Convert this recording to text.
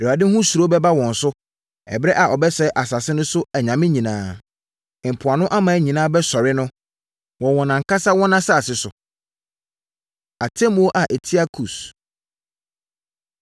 Awurade ho suro bɛba wɔn so ɛberɛ a ɔbɛsɛe asase no so anyame nyinaa. Mpoano aman nyinaa bɛsɔre no, wɔ wɔn ankasa wɔn asase so. Atemmuo A Ɛtia Kus